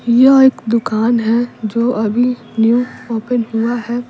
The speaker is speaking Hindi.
यह एक दुकान है जो अभी न्यू ओपन हुआ है।